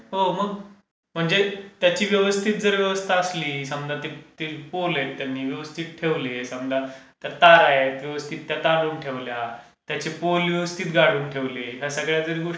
हो मग. म्हणजे त्याची व्यवस्थित जर व्यवस्था असली समजा ते पोल आहे ते त्यांनी व्यवस्थित ठेवले समजा, ते तार आहेत व्यवस्थित त्या तारून ठेवल्या, त्याचे पोल व्यवस्थित गाळून ठेवले या